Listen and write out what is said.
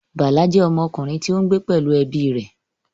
Bala jẹ́ ọmọkùnrin tí ó ń gbé pẹ̀lú ẹbí rẹ̀